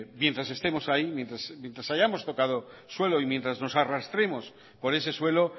mientras estemos ahí mientras hayamos tocado suelo y mientras nos arrastremos por ese suelo